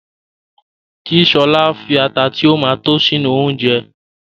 Kí Ṣọlá fi ata tí ó ma tó sínú oúnjẹ